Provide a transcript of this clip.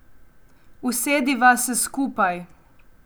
Usediva se skupaj.